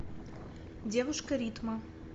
девушка ритма